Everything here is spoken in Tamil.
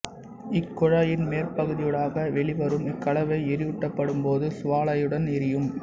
இக் குழாயின் மேற்பகுதியூடாக வெளிவரும் இக்கலவை எரியூட்டப்படும்போது சுவாலையுடன் எரியும்